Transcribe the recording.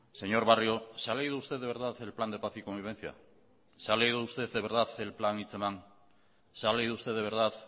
señor barrio se ha leído usted de verdad el plan de paz y convivencia se ha leído usted de verdad el plan hitzeman se ha leído usted de verdad